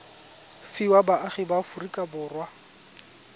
fiwa baagi ba aforika borwa